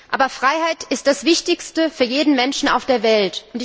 Aber Freiheit ist das Wichtigste für jeden Menschen auf der Welt.